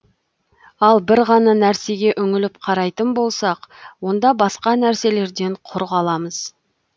ал бір ғана нәрсеге үңіліп қарайтын болсақ онда басқа нәрселерден құр қаламыз